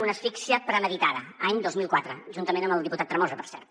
una asfíxia premeditada any dos mil quatre juntament amb el diputat tremosa per cert